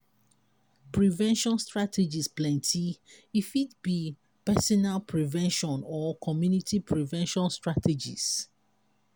prevention strategies plenty e fit be personal prevention or community prevention strategies